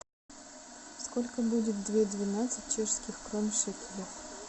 сколько будет две двенадцать чешских крон в шекеле